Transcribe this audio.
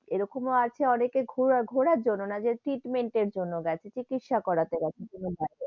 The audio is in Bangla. এরকম ও আছে অনেকেই ঘর~ ঘোরার জন্য না treatment এর জন্য গেছে, চিকিৎসা করতে গেছে ,